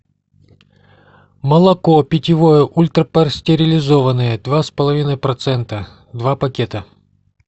молоко питьевое ультрапастеризованное два с половиной процента два пакета